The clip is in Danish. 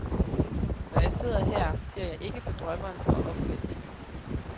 Når jeg sidder her, ser jeg ikke på drømmeren og omvendt.